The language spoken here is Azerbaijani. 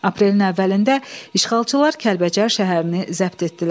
Aprelin əvvəlində işğalçılar Kəlbəcər şəhərini zəbt etdilər.